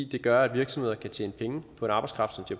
det gør at virksomheder kan tjene penge på en arbejdskraft som de